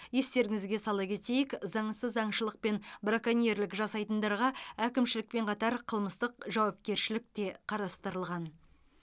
естеріңізге сала кетейік заңсыз аңшылық пен браконьерлік жасайтындарға әкімшілікпен қатар қылмыстық жауапкершілік те қарастырылған